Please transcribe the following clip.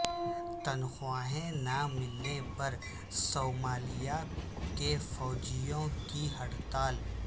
تنخواہیں نہ ملنے پر صومالیہ کے فوجیوں کی ہڑتال